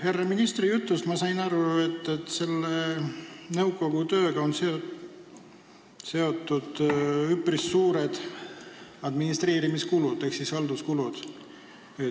Härra ministri jutust sain ma aru, et selle nõukogu tööga on seotud üpris suured administreerimiskulud ehk halduskulud.